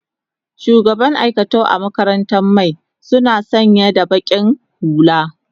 shugaban aikatau a makarantaran my suna sanya da baki hulla